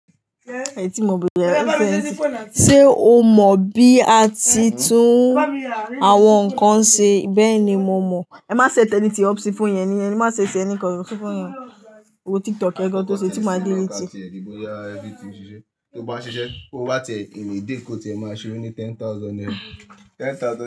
Ẹ̀yin tí mo bẹ̀rẹ̀, ṣe o mọ̀ bí a ti tún àwọn nǹkan ṣe? Bẹ́ẹ̀ ni mo mọ̀. Ẹ má ṣet anything up ṣì phone yẹn nìyẹn. Má ṣe ṣẹ́ ẹni kan, ṣì fún yẹn. Owo TikTok yẹ́n gan tó ṣe tí ma delete. Tó bá ṣiṣẹ́, kó wá tie ìn a day, kó tiẹ́ máa ṣe o ní ten thousand naira. Ten thousand naira.